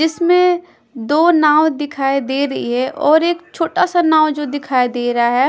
इसमें दो नाव दिखाई दे रही है और एक छोटा सा नाव जो दिखाई दे रहा है --